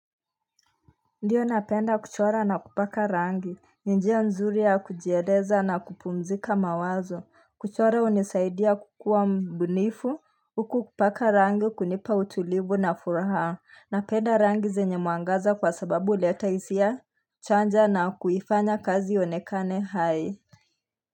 Ndiyo napenda kuchora na kupaka rangi Ndiyo nzuri ya kujieza na kupumzika mawazo kuchora unisaidia kukua mbunifu Huku kupaka rangi kunipa utulivu na furaha Napenda rangi zenye mwangaza kwa sababu uleta hisia chanja na kuifanya kazi ionekane hai.